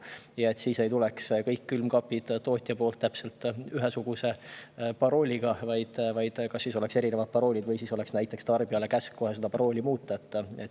Siis ei tulla kõik külmkapid tootjalt täpselt ühesuguse parooliga, vaid olema erinevad paroolid, või siis tarbijale käsk kohe parooli muuta.